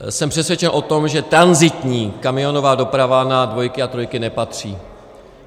Jsem přesvědčen o tom, že tranzitní kamionová doprava na dvojky a trojky nepatří.